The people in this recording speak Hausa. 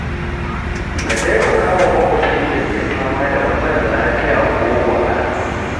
Ka taimaka wa makwabci da ke fama da matsalar lafiya ko wahala.